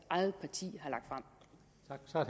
eget parti